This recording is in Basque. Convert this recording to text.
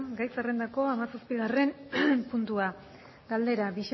gai zerrendako hamazazpigarren puntua galdera